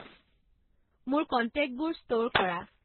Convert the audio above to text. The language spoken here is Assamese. মোৰ কণ্টেক্টবোৰ ষ্টোৰ কৰা